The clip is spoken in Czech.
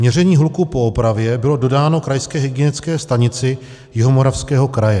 Měření hluku po opravě bylo dodáno Krajské hygienické stanici Jihomoravského kraje.